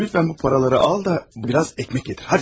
Xahiş edirəm bu pulları al da, bir az çörək gətir, gəl.